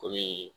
Komi